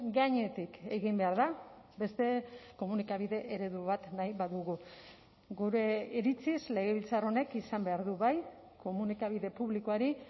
gainetik egin behar da beste komunikabide eredu bat nahi badugu gure iritziz legebiltzar honek izan behar du bai komunikabide publikoari